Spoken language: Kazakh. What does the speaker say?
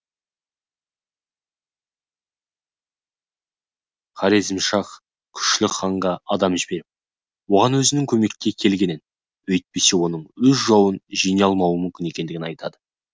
хорезмшах күшлік ханға адам жіберіп оған өзінің көмекке келгенін өйтпесе оның өз жауын жеңе алмауы мүмкін екендігін айтады